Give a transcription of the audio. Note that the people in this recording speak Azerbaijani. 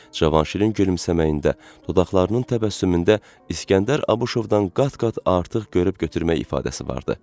Cavanşirin gülümsəməyində, dodaqlarının təbəssümündə İskəndər Abışovdan qat-qat artıq görüb götürmək ifadəsi vardı.